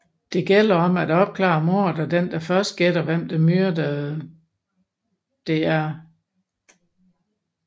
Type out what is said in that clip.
Det gælder om at opklare mordet og den der først gætter hvem der myrdede Dr